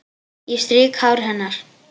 Ég strýk hár hennar.